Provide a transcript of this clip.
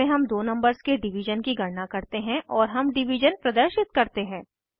इसमें हम दो नंबर्स के डिवीज़न की गणना करते हैं और हम डिवीज़न प्रदर्शित करते हैं